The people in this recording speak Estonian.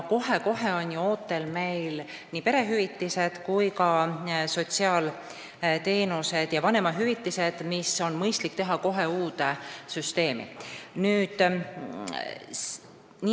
Meil on ju ootel perehüvitised, sotsiaalteenused ja vanemahüvitised – need on mõistlik teha kohe uude süsteemi.